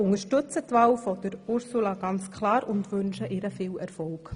Wir unterstützen die Wahl von Ursula Zybach ganz klar und wünschen ihr viel Erfolg.